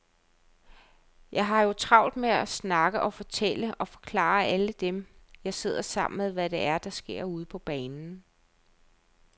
Jeg har jo travlt med at snakke og fortælle og forklare alle dem, jeg sidder sammen med, hvad det er, der sker ude på banen.